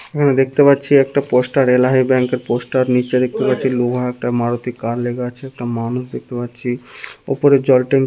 দেখতে পাচ্ছি একটা পোস্টার এলাহী ব্যাংকের পোস্টার নিচে দেখতে পাচ্ছি লোহা একটা মারুতি কার লেখা আছে একটা মানুষ দেখতে পাচ্ছি ওপরে জল ট্যাঁক ।